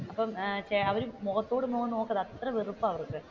അപ്പൊ അവർ മുഖത്തോട് മുഖം നോക്കില്ല അത്രയും വെറുപ്പാണ് അവക്ക്,